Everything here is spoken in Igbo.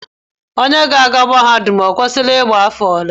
Onye ga-aga mahadum o kwesịrị ịgba afọ ole?